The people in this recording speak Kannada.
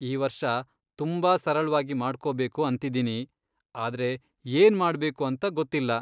ಈ ವರ್ಷ ತುಂಬಾ ಸರಳ್ವಾಗಿ ಮಾಡ್ಕೋಬೇಕು ಅಂತಿದ್ದೀನಿ, ಆದ್ರೆ ಏನ್ ಮಾಡ್ಬೇಕು ಅಂತ ಗೊತ್ತಿಲ್ಲ.